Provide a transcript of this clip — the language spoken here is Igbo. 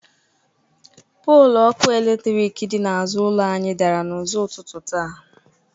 Poolu ọkụ eletrik dị n’azụ ụlọ anyị dara n’ụzọ ụtutụ taa.